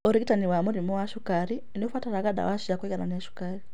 ũrigitani wa mũrimũ wa cukari nĩũbataraga ndawa cia kũiganania cukari